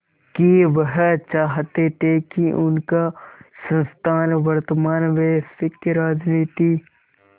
कि वह चाहते थे कि उनका संस्थान वर्तमान वैश्विक राजनीति